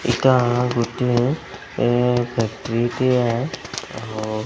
ଏଇତା ଗୋଟିଏ ଏ ଫ୍ୟାକ୍ଟ୍ରି ଟିଏ ଅଅ --